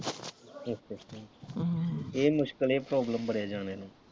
ਅੱਛਾ ਅੱਛਾ ਇਹ ਮੁਸ਼ਕਲ ਇਹ problem ਬੜੇ ਜਾਣਿਆ ਨੂੰ।